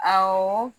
Awɔ